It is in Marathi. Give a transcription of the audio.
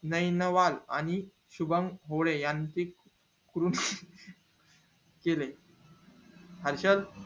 नैनवल आणि शुभम होळे यांचे केले हर्षल